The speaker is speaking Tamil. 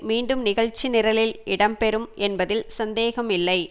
மீண்டும் நிகழ்ச்சி நிரலில் இடம்பெறும் என்பதில் சந்தேகம் இல்லை